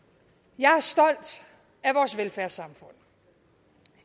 jeg er stolt af vores velfærdssamfund